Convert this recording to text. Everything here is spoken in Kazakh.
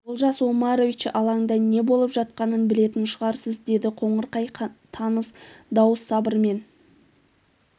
олжас омарович алаңда не болып жатқанын білетін шығарсыз деді қоңырқай таныс дауыс сабырмен